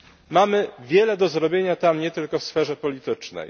Mamy wiele do zrobienia nie tylko w sferze politycznej